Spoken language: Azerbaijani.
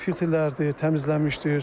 Filtrlər də təmizlənmişdir.